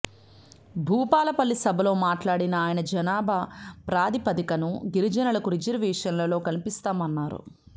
భూపాలపల్లి సభలో మాట్లాడిన ఆయన జనాభా ప్రాతిపదికన గిరిజనులకు రిజర్వేషన్లు కల్పిస్తామన్నారు